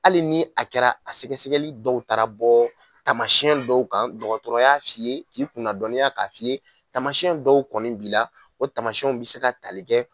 Hali ni a kɛra a sɛgɛsɛgɛli dɔw taara bɔ taamasiyɛn dɔw kan dɔgɔtɔrɔ y'a f'i ye k'i kunnadɔnniya k'a f'iye taamasiyɛn dɔw kɔni b'i la o taamasiyɛn bɛ se ka tali kɛ